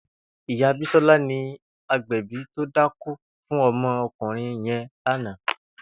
Ìyá Bisola ni ágbẹ̀bì tó dákó fún ọmọ ọkunrin yèn làná